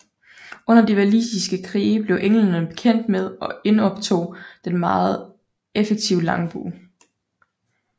Under de walisiske krige blev englænderne bekendt med og indoptog den meget effektive langbue